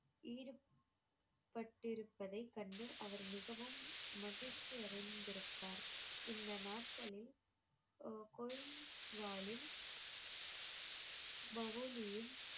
ஈடுபட்டிருப்பதை கண்டு அவர் மிகவும் மகிழ்ச்சி அடைந்திருப்பார் இந்த நாட்களில்